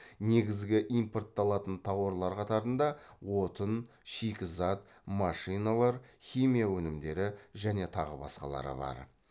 негізгі импортталатын тауарлар қатарында отын шикізат машиналар химия өнімдері және тағы басқалары бар